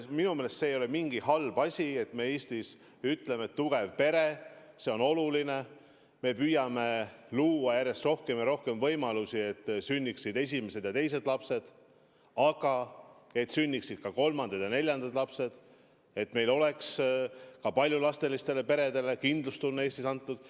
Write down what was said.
Minu meelest see ei ole mingi halb asi, et me Eestis ütleme, et tugev pere on oluline, et me püüame luua järjest rohkem võimalusi, et sünniksid esimesed ja teised lapsed, aga ka kolmandad ja neljandad lapsed, et meil oleks ka paljulapselistele peredele kindlustunne Eestis antud.